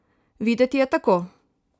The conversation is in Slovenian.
Videti je tako!